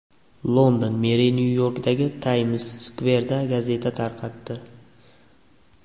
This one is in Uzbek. London meri Nyu-Yorkdagi Tayms-skverda gazeta tarqatdi.